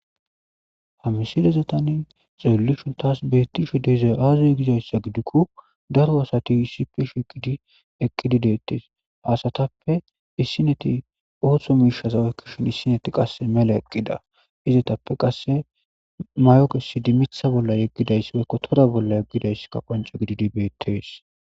Ha mishshileza tani xelashe betizhe dizay aze ida iza gikko daro asati issippe eqqidi detees. Ha asatupe qasi issineti oso mishata oyiqishin qassi issinet mela eqqida izatuppe qassi mayo kesidi miththa bolla yegida issika qoncce gididi bettees.